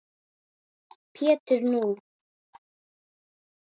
Pétur: Nú!